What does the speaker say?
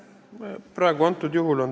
Aitäh!